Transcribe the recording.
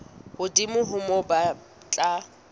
hodimo ho moo ba tla